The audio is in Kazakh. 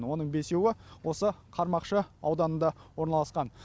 оның бесеуі осы қармақшы ауданында ораналасқан